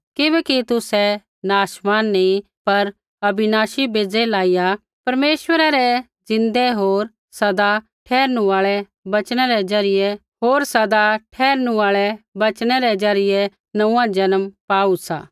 किबैकि तुसै नाशमान नी पर अविनाशी बेज़ै लाइया परमेश्वरै रै ज़िन्दै होर सदा ठहरनू आल़ै वचनै रै ज़रियै नोंऊँआं जन्म पाऊ सा